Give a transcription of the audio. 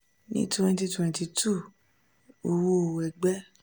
ní twenty twenty two owó ẹgbẹ́